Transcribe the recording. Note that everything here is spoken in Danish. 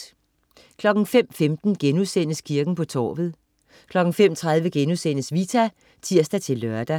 05.15 Kirken på torvet* 05.30 Vita* (tirs-lør)